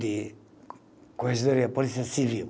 de corregedoria Polícia Civil.